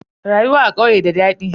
Rayuwa a ƙauye da dadi.